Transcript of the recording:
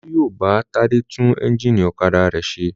Olú yóò bá Tádé tún ẹ́ńjínì ọ̀kadà rẹ̀ ṣe.